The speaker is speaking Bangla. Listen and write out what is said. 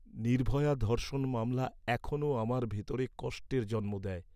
নির্ভয়া ধর্ষণ মামলা এখনও আমার ভিতর কষ্টের জন্ম দেয়।